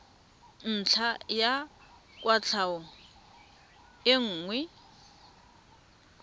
ntlha ya kwatlhao e nngwe